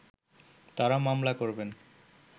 তারা মামলা করবেন